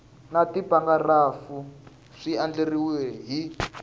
na tipharagirafu swi andlariwile hi